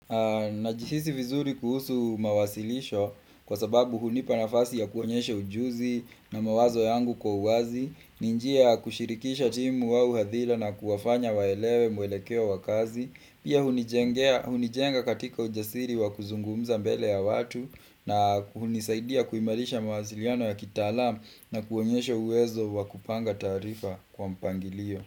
Najihisi vizuri kuhusu mawasilisho kwa sababu hunipa nafasi ya kuonyesha ujuzi na mawazo yangu kwa uwazi, ni njia ya kushirikisha timu au hadhila na kuwafanya waelewe mwelekeo wa kazi, pia hunijengea hunijenga katika ujasiri wa kuzungumza mbele ya watu, na hunisaidia kuimarisha mawasiliano ya kitalam na kuonyesha uwezo wa kupanga taarifa kwa mpangilio.